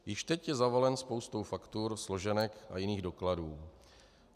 Již teď je zavalen spoustou faktur, složenek a jiných dokladů.